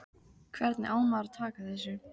Hvernig á maður að taka þessu?